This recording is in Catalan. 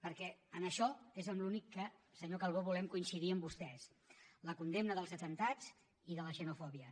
perquè en això és en l’únic que senyor calbó volem coincidir amb vostès la condemna dels atemptats i de la xenofòbia